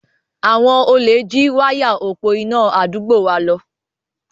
Àwọn olè jí wáyà òpo iná àdúgbò wa lọ.